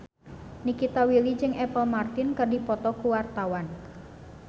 Nikita Willy jeung Apple Martin keur dipoto ku wartawan